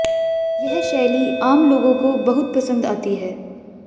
यह शैली आम लोगों को बहुत पसंद आती है